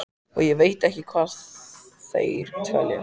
Og ég veit ekki hvar þeir dveljast.